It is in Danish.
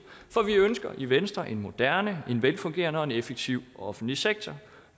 for vi ønsker i venstre en moderne en velfungerende og en effektiv offentlig sektor